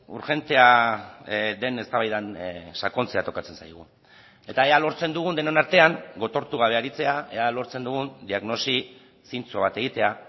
urgentea den eztabaidan sakontzea tokatzen zaigu eta ea lortzen dugun denon artean gotortu gabe aritzea ea lortzen dugun diagnosi zintzo bat egitea